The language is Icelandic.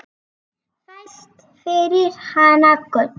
Fæst fyrir hana gull.